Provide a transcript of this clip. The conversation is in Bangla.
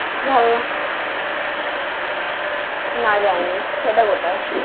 ভালনা না যাইনি সেটা কথায়?